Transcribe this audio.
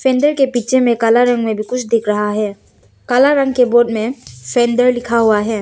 पीछे में काला रंग में भी कुछ दिख रहा है काला रंग के बोर्ड में सेंडर लिखा हुआ है।